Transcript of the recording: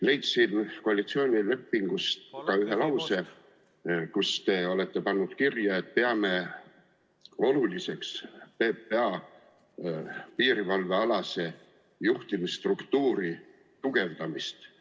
Leidsin koalitsioonilepingust ka ühe lause, kus te olete pannud kirja, et te peate oluliseks PPA piirivalvealase juhtimisstruktuuri tugevdamist.